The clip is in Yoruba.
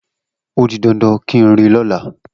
O di dandan kí n rí i lọ́la.